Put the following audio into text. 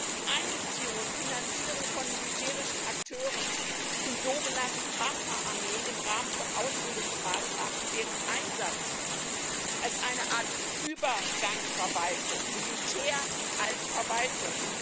Die Einbeziehung und Finanzierung von militärischen Akteuren und sogenannten Partnerarmeen im Rahmen von Ausbildungsmaßnahmen und deren Einsatz als eine Art Übergangsverwaltung Militär als Verwaltung!